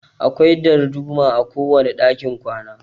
Akwai darduma a kowane dakin kwana.